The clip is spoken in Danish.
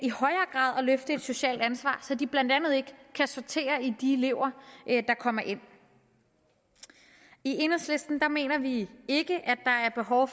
løfte et socialt ansvar så de blandt andet ikke kan sortere i de elever der kommer ind i enhedslisten mener vi ikke der er behov